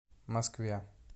москве